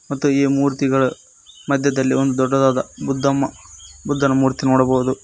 ಮತ್ತು ಈ ಮೂರ್ತಿಗಳು ಮದ್ಯದಲ್ಲಿ ಒಂದು ದೊಡ್ಡದಾದ ಬುದ್ದಮ ಬುದ್ದನ ಮೂರ್ತಿ ನೋಡಬಹುದು.